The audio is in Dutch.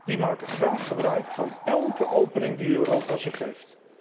Die maken graag gebruik van elke opening die Europa ze geeft.